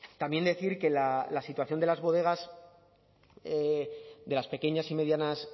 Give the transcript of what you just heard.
también decir que la situación de las bodegas de las pequeñas y medianas